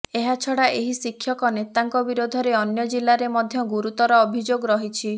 ଏହାଛଡ଼ା ଏହି ଶିକ୍ଷକ ନେତାଙ୍କ ବିରୋଧରେ ଅନ୍ୟ ଜିଲ୍ଲାରେ ମଧ୍ୟ ଗୁରୁତର ଅଭିଯୋଗ ରହିଛି